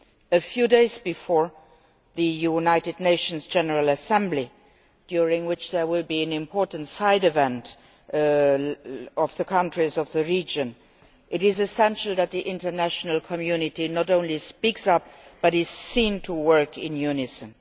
A few days before the EU United Nations General Assembly, during which there will an important side event among the countries of the region, it is essential that the international community not only speaks up but is seen to work in unison.